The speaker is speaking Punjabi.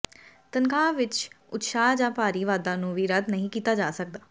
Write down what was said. ਤਨਖਾਹ ਵਿਚ ਉਤਸ਼ਾਹ ਜਾਂ ਭਾਰੀ ਵਾਧਾ ਨੂੰ ਵੀ ਰੱਦ ਨਹੀਂ ਕੀਤਾ ਜਾ ਸਕਦਾ